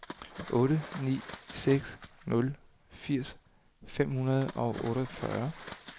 otte ni seks nul firs fem hundrede og otteogfyrre